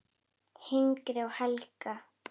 Hinrik og Helga.